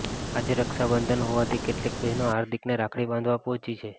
આજે રક્ષાબંધન હોવાથી કેટલીક બહેનો હાર્દિકને રાખડી બાંધવા પહોંચી છે